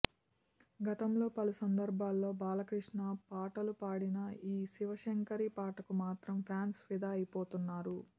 గతంలో పలు సందర్భాల్లో బాలకృష్ణ పాటలు పాడినా ఈ శివశంకరీ పాటకు మాత్రం ఫ్యాన్స్ ఫిదా అయిపోతున్నారు